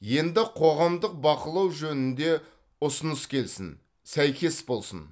енді қоғамдық бақылау жөнінде ұсыныс келсін сәйкес болсын